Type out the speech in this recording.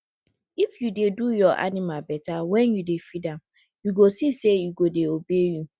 if you dey do your animal better wen you dey feed am you go see say e go dey obey you